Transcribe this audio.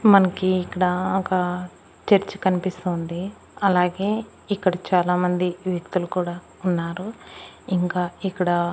మనకి ఇక్కడ ఒక చర్చి కనిపిస్తోంది అలాగే ఇక్కడ చాలామంది వ్యక్తులు కూడా ఉన్నారు ఇంకా ఇక్కడ--